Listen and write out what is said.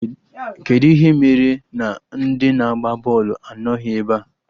Kedụ ihe mere na ndị na-agba bọọlụ anọghị ebe a?